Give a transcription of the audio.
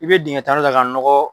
I bɛ dingɛ tan kɛ ka nɔgɔ.